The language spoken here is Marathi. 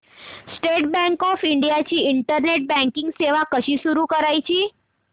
स्टेट बँक ऑफ इंडिया ची इंटरनेट बँकिंग सेवा कशी सुरू करायची